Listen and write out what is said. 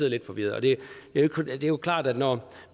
lidt forvirret når